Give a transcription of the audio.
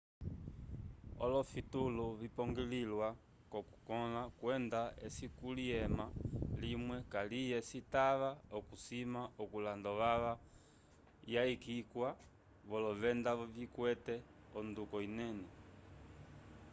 olofitulu vipongolwilwa k'okukõla kwenda eci kuli ema limwe kaliye citava okusima okulanda ovava yayikiwa volovenda vikwete onduko inene